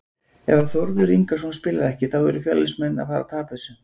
Ef að Þórður Ingason spilar ekki þá eru Fjölnismenn að fara að tapa þessu.